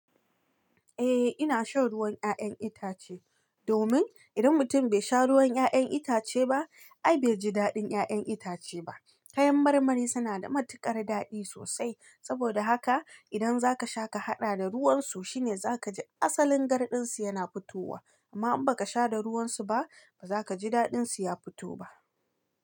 Eh ina shan ruwan 'ya'yan itace, domin idan mutum bai sha ruwan 'ya'yan itace ba, ai bai ji daɗin 'ya'yan itace ba. Kayan marmari suna da matuƙar daɗi sosai, saboda haka idan zaka sha ka haɗa da ruwan su shine zaka ji asalin garɗin su yana fitowa. Amma in baka sha da ruwan su ba, baza kaji daɗin su ya fito ba.